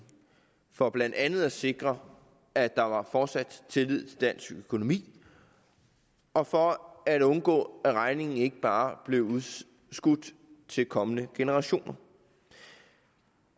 for blandt andet at sikre at der fortsat tillid til dansk økonomi og for at undgå at regningen ikke bare blev udskudt til kommende generationer